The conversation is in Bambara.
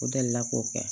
O delila k'o kɛ